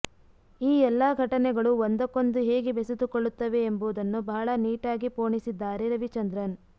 ಈ ಎಲ್ಲಾ ಘಟನೆಗಳು ಒಂದಕ್ಕೊಂದು ಹೇಗೆ ಬೆಸೆದುಕೊಳ್ಳುತ್ತವೆ ಎಂಬುದನ್ನು ಬಹಳ ನೀಟಾಗಿ ಪೋಣಿಸಿದ್ದಾರೆ ರವಿಚಂದ್ರನ್